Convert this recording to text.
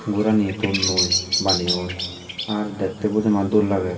gorani tonnoi baneyonn ar dekte bojoman dol lager.